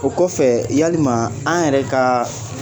O kɔfɛ yaliman an yɛrɛ kaaa